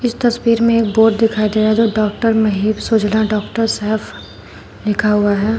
इस तस्वीर में एक बोर्ड दिखाई दे रहा है जो डॉक्टर महीप सलूजा डॉक्टर शैफ लिखा हुआ है।